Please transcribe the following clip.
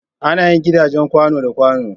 Ana yin gidajen kwàno da kwàno.